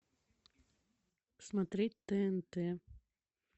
смотреть тнт